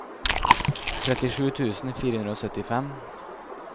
trettisju tusen fire hundre og syttifem